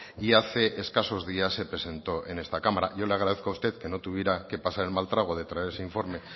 y hace escasos días se presentó en esta cámara y yo le agradezco a usted que no tuviera que pasar el mal trago de traer ese informe